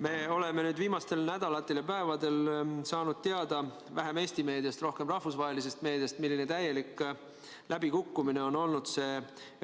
Me oleme nüüd viimastel nädalatel ja päevadel saanud teada – vähem Eesti meediast, rohkem rahvusvahelisest meediast –, milline täielik läbikukkumine on olnud